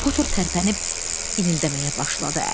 Potur tərpənib inildəməyə başladı.